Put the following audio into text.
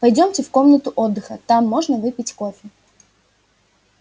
пойдёмте в комнату отдыха там можно выпить кофе